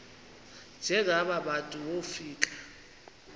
njengaba bantu wofika